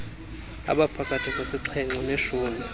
abaphakathi kwesixhenxe neshumi